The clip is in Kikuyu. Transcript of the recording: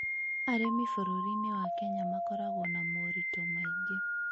Arĩmi bũrũri-inĩ wa Kenya makoragwo na moritũ maingĩ.